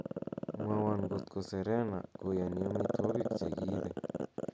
mwowon kotko serena koyoni omitwogik chegiibe